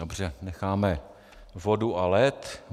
Dobře, necháme vodu a led.